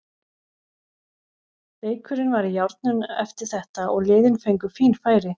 Leikurinn var í járnum eftir þetta og liðin fengu fín færi.